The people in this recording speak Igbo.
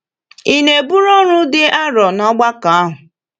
Ị na-eburu ọrụ dị arọ n’ọgbakọ ahụ?